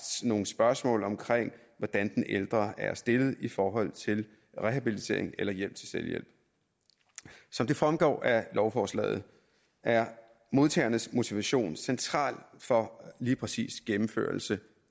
nogle spørgsmål om hvordan den ældre er stillet i forhold til rehabilitering eller hjælp til selvhjælp som det fremgår af lovforslaget er modtagernes motivation central for lige præcis gennemførelse